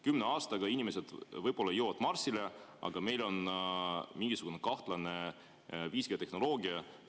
Kümne aastaga jõuavad inimesed võib-olla juba Marsile, aga meil on mingisugune kahtlane 5G‑tehnoloogia.